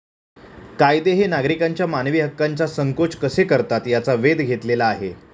कायदे हे नागरिकांच्या मानवी हक्कांचा संकोच कसे करतात याचा वेध घेतलेला आहे.